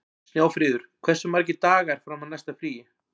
Snjáfríður, hversu margir dagar fram að næsta fríi?